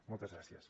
moltes gràcies